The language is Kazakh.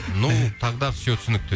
ну тогда все түсінікті